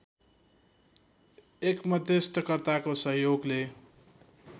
एक मध्यस्थकर्ताको सहयोगले